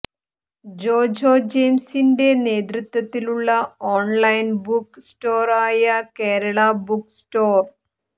ജോജോ ജെയിംസിന്റെ നേതൃത്വത്തിലുള്ള online book store ആയ കേരളബുക്ക്സ്റ്റോര്